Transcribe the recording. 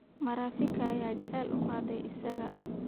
Marafika ayaa jacayl u qaaday isaga